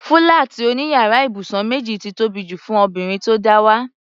Fúláàtì òní yàrá ibùsùn méjì ti tóbi jù fún obìnrin tó dáwà.